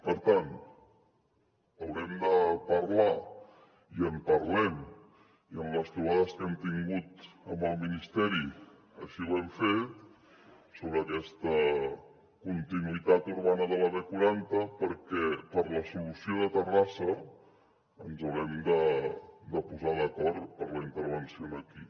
per tant n’haurem de parlar i en parlem i en les trobades que hem tingut amb el ministeri així ho hem fet sobre aquesta continuïtat urbana de la b quaranta perquè per a la solució de terrassa ens haurem de posar d’acord per a la intervenció aquí